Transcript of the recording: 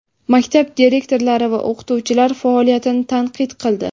maktab direktorlari va o‘qituvchilar faoliyatini tanqid qildi.